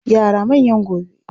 Yara manyan gobe